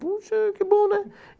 Puxa, que bom, né?